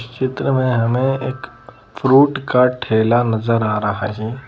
इस चित्र में हमें एक फ्रूट का ठेला नजर आ रहा हैं।